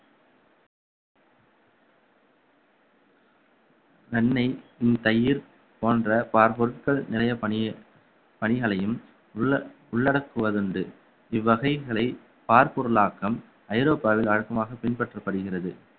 வெண்ணெய் தயிர் போன்ற பால் பொருட்கள் நிறைய பணியே~ பணிகளையும் உள்ள~ உள்ளடக்குவது உண்டு இவ்வகைகளை பார்ப்பொருளாக்கம் ஐரோப்பாவில் வழக்கமாக பின்பற்றப்படுகிறது